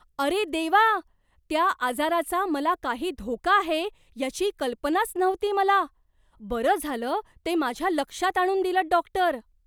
अरे देवा! त्या आजाराचा मला काही धोका आहे याची कल्पनाच नव्हती मला. बरं झालं ते माझ्या लक्षात आणून दिलंत, डॉक्टर.